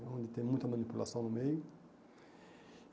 É Onde tem muita manipulação no meio.